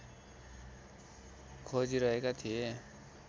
खोजिरहेका थिए